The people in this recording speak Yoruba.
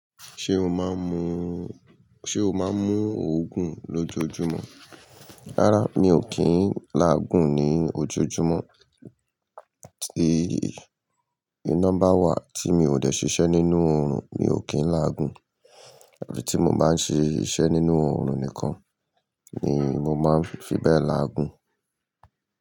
Ṣé o máa ń mú, ṣe o máa ń mú òògùn lójoojúmọ́? Rárá, mi ò kí ń láàgùn ní ojoojúmọ́. Tí, iná bà wà tí mi ò dé ṣiṣẹ́ nínú oorun, mi ò kí ń láàgùn. Afí tí mo bá ń ṣe iṣẹ́ nínú oorun nìkan ni mo máa ń fi bẹ́ẹ̀ láàgùn.